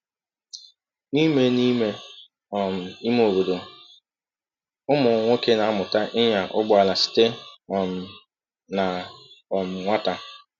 N'ime N'ime um ime obodo, ụmụ nwoke na-amụta ịnya ụgbọala site um na um nwata.